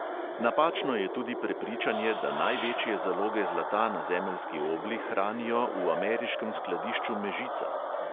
Napačno je tudi prepričanje, da največje zaloge zlata na zemeljski obli hranijo v ameriškem skladišču mežica.